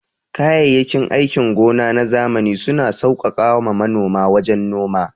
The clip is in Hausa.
Kayayyakin aikin gona na zamani suna sauƙaƙa ma manoma wajen noma.